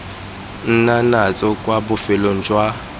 nna natso kwa bofelong jwa